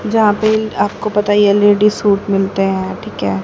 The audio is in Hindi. जहां पे आपको पता है ये लेडी सूट मिलते हैं ठीक है।